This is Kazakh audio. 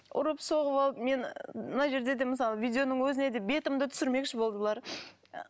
ұрып соғып алып мені мына жерде де мысалы видеоның өзіне де бетімді түсірмекші болды бұлар